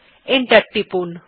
enter টিপুন